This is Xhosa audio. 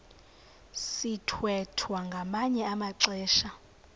sithwethwa ngamanye amaxesha